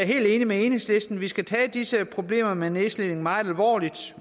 helt enig med enhedslisten vi skal tage disse problemer med nedslidning meget alvorligt